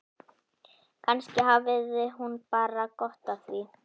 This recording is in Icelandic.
Kannski hafði hún bara gott af því.